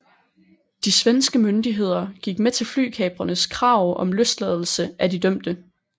De svenske myndigheder gik med til flykaprernes krav om løsladelse af de dømte